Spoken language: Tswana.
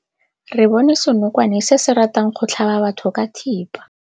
Re bone senokwane se se ratang go tlhaba batho ka thipa.